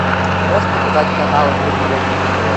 ты можешь показать канал мир премиум на тв